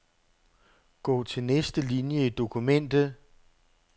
Gå til næste linie i dokumentet.